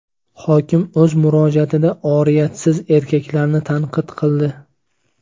Hokim o‘z murojaatida oriyatsiz erkaklarni tanqid qildi.